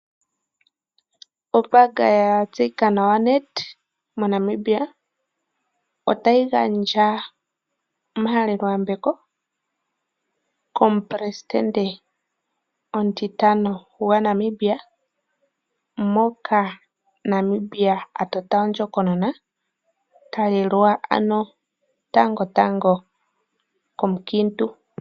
Ombaanga ya tseyika nawa Nedbank moNamibia otayi gandja omahaleloyambeko komupelesitende omutitano gwaNamibia, moka Namibia a tota ondjokonona ta lelwa tangotango komukiintu.